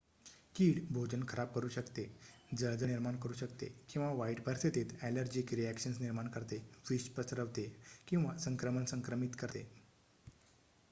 कीड भोजन खराब करू शकते जळजळ निर्माण करू शकते किंवा वाईट परिस्थितीत ॲलर्जीक रिॲक्शन्स निर्माण करते विष पसरवते किंवा संक्रमण संक्रमित करते